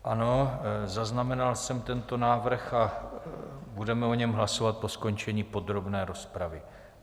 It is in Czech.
Ano, zaznamenal jsem tento návrh a budeme o něm hlasovat po skončení podrobné rozpravy.